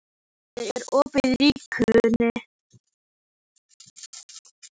Berghildur, er opið í Ríkinu?